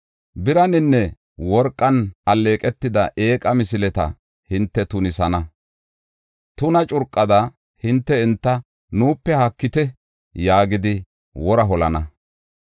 Biraninne worqan alleeqetida eeqa misileta hinte tunisana. Tuna curqada hinte enta, “Nuupe haakite” yaagidi wora holana.